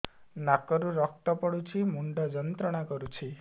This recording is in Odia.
ନାକ ରୁ ରକ୍ତ ପଡ଼ୁଛି ମୁଣ୍ଡ ଯନ୍ତ୍ରଣା କରୁଛି